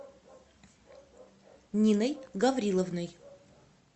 ниной гавриловной